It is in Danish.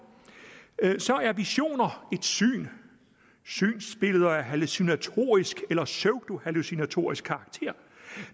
vision syn synsbillede af hallucinatorisk eller pseudohallucinatorisk karakter